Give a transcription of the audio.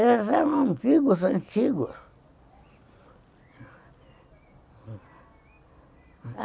Eles eram amigos antigos.